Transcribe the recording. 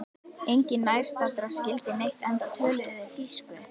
Enginn nærstaddra skildi neitt enda töluðu þeir þýsku.